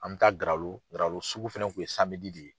An bɛ taa Garalo Garalo sugu fɛnɛ kun ye de ye.